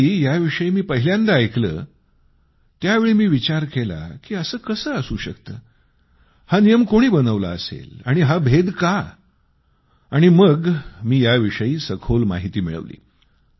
ज्यावेळी याविषयी मी पहिल्यांदा ऐकलं त्यावेळी मी विचार केला की असं कसं असू शकतं हा नियम कोणी बनवला असेल आणि असा भेद का आणि मग मी याविषयी सखोल माहिती मिळवली